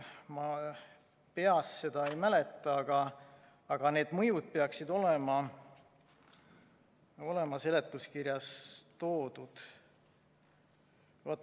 Ma peast seda ei mäleta, aga need mõjud peaksid olema seletuskirjas toodud.